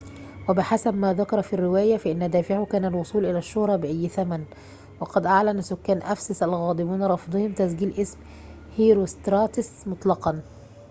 وبحسب ما ذكر في الرواية فإن دافعه كان الوصول إلى الشّهرة بأيّ ثمن وقد أعلن سكان أفسس الغاضبون رفضهم تسجيل اسم هيروستراتس مطلقًا